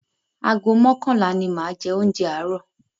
Ago mọ́kànlá ni máa jẹ oúnjẹ àárọ̀.